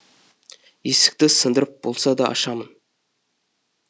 есікті сындырып болса да ашамын